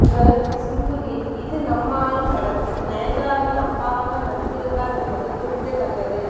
இவர் சிம்புவின் இது நம்ம ஆளு படத்தில் நயன்தாராவின் அப்பாவாக நடித்திருந்தார் என்பது குறிப்பிடத்தக்கது